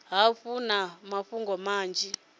hafhu vha na mafhungo manzhi